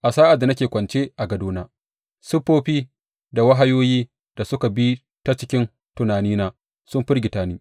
A sa’ad da nake kwance a gadona, siffofi da wahayoyi da suka bi ta cikin tunanina sun firgita ni.